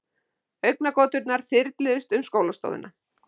Augnagoturnar þyrluðust um skólastofuna.